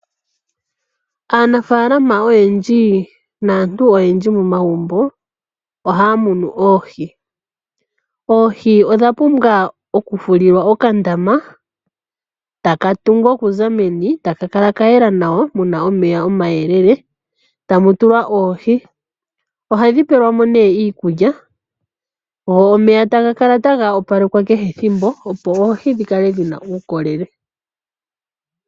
Aanafaalama oyendji naantu oyendji momagumbo ohaya munu oohi. Oohi odha pumbwa oku fulilwa okandama taka tungwa oka za meni, taka kala kayela nawa muna omeya omayelele, tamu tulwa oohi, ohadhi pelwa mo nee iikulya, go omeya taga kala taga opalekwa kehe ethimbo opo oohi dhi kale dhina uukolele.